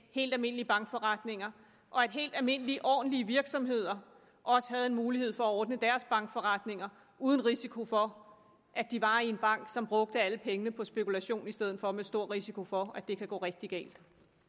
helt almindelige bankforretninger og at helt almindelige ordentlige virksomheder også havde en mulighed for at ordne deres bankforretninger uden risiko for at de var i en bank som brugte alle pengene på spekulation i stedet for med stor risiko for at det kan gå rigtig galt